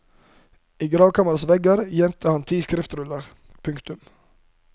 I gravkammerets vegger gjemte han ti skriftruller. punktum